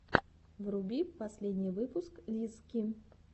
вруби последний выпуск лиззки